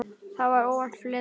Það var óvænt flétta.